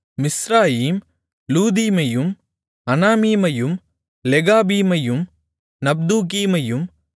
Mizraim லூதீமையும் அனாமீமையும் லெகாபீமையும் நப்தூகீமையும்